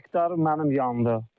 Üç hektar mənim yandı.